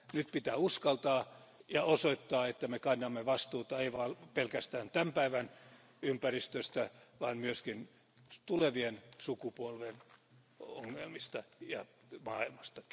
Nyt pitää uskaltaa ja osoittaa, että me kannamme vastuuta ei vaan pelkästään tämän päivän ympäristöstä vaan myöskin tulevien sukupolvien ongelmista ja maailmasta.